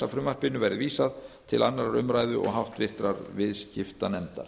frumvarpinu verði vísað til annarrar umræðu og háttvirtur viðskiptanefndar